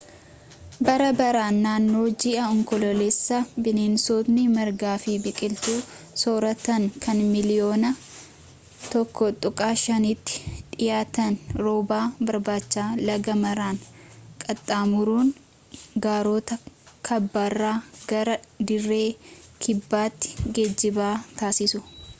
bara baraan naannoo ji'a onkoloolessaa bineensotni margaa fi biqiltuu sooratan kan miliyoona 1.5tti dhiyaatan rooba barbaacha laga maaraa qaxxaamuruun gaarota kaabaarraa gara dirree kibbaatti geejjiba taasisu